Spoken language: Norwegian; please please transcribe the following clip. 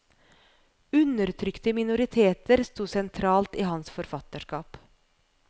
Undertrykte minoriteter sto sentralt i hans forfatterskap.